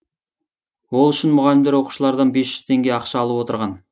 ол үшін мұғалімдер оқушылардан бес жүз теңге ақша алып отырған